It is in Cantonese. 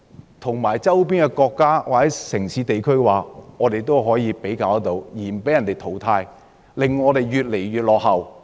如何可以與周邊國家、城市或地區比較，而不被淘汰，以免我們越來越落後？